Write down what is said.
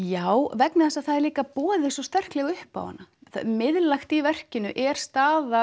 já vegna þess að það er líka boðið svo sterklega upp á hana miðlægt í verkinu er staða